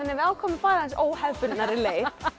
við ákváðum að fara óhefðbundnari leið